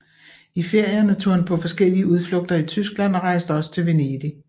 I ferierne tog han på forskellige udflugter i Tyskland og rejste også til Venedig